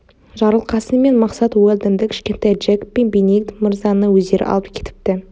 жарылқасын мен мақсат уэлдонды кішкентай джек пен бенедикт мырзаны өздері алып кетіпті